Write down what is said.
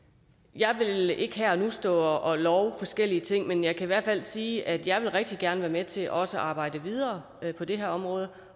jeg vil ikke her og nu stå og love forskellige ting men jeg kan i hvert fald sige at jeg rigtig gerne med til også at arbejde videre på det her område